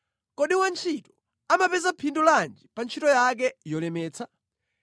Kodi wantchito amapeza phindu lanji pa ntchito yake yolemetsa?